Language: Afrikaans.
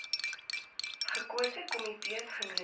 gekose komitees genoem